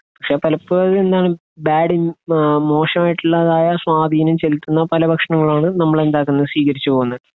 പക്ഷെ പലപ്പോഴും എന്താണ് ബാഡ് ഇൻഫ്ലു, മോശമായിട്ടുള്ള സ്വാധീനം ചെലുത്തുന്ന പല ഭക്ഷണങ്ങളുമാണ് നമ്മൾ എന്താക്കുന്നത്, സ്വീകരിച്ചു പോരുന്നത്.